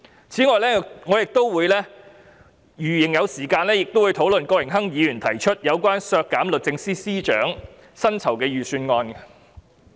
此外，如仍有時間，我亦會討論郭榮鏗議員提出有關削減律政司司長薪酬預算開支的修正案。